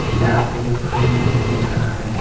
यहां पे एक रूम दिखाई दे रहा है।